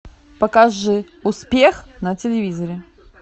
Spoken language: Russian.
покажи успех на телевизоре